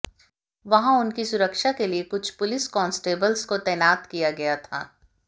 वहां उनकी उनकी सुरक्षा के लिए कुछ पुलिस कांस्टेबल्स को तैनात किया गया था